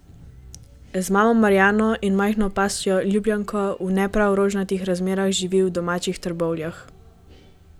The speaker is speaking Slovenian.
Z mamo Marjano in majhno pasjo ljubljenko v ne prav rožnatih razmerah živi v domačih Trbovljah.